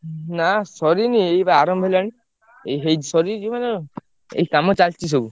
ନା ସରିନି ଏଇ ବା ଆରମ୍ଭ ହେଲାଣି, ଏଇ ହେଇଚି ସରି ଯିବ ଏଇ କାମ ଚାଲଚି ସବୁ।